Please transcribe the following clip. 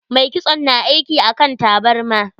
Mai kitson na aiki akan tabarma.